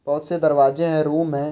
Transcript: बहोत से दरवाजे हैं रुम हैं।